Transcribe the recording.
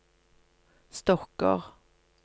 stokker